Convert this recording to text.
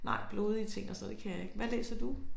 Nej blodige ting og sådan noget det kan jeg ikke. Hvad læser du?